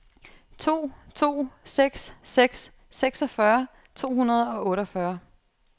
to to seks seks seksogfyrre to hundrede og otteogfyrre